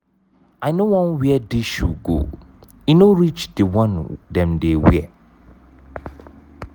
i no wan wear dis shoe go e no reach the one dem dey wear.